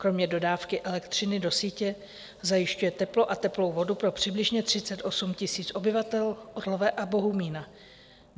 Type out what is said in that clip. Kromě dodávky elektřiny do sítě zajišťuje teplo a teplou vodu pro přibližně 38 000 obyvatel Orlové a Bohumína.